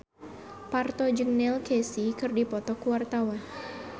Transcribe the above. Parto jeung Neil Casey keur dipoto ku wartawan